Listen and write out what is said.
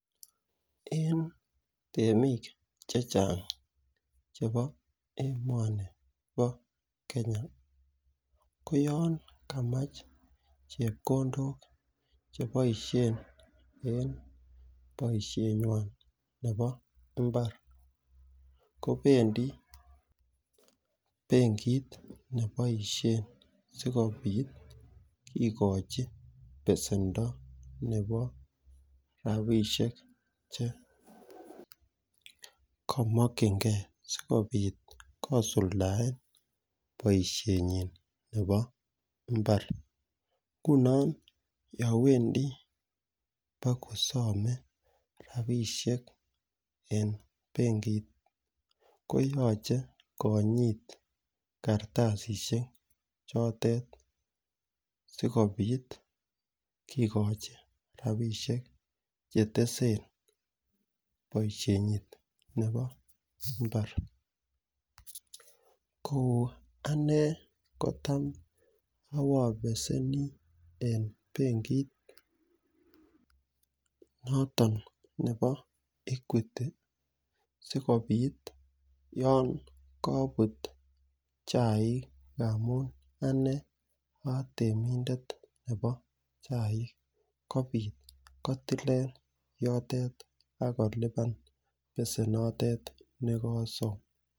eng temik chechang chebo emoni pakenya. kouyan kamach chepkondok chepaishe eng pasihenwan nepa mbaar kopendi benkit nepoishe sigopit kikochi pesendo nepo rapishek chekamachinkei sigosuldae paishonin chepo mbaar. nguno yawendi pakosame rapishek eng penkit koyache konyit karatasishek chote sikopit kikochi rapishek cheteseen paisheni nebo mbaar ko anee kotam apapeseni eng benkit noton nepa equity sikopiit yoon kaput chai amun anee atemindet nepachaik kopit kotileen yotok akolipan pesenotet notok kasom